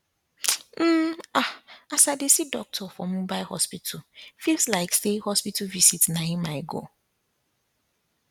um ah as i dey see doctorfor mobile hospital feels like say hospital visit na him i go